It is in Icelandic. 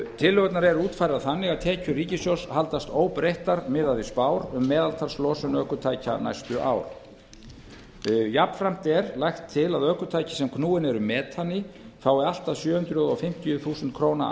tillögurnar eru útfærðar þannig að tekjur ríkissjóðs haldast óbreyttar miðað við spár um meðaltalslosun ökutækja næstu ár jafnframt er lagt til að ökutæki sem knúin eru metani fái allt að sjö hundruð fimmtíu þúsund króna